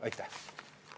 Aitäh!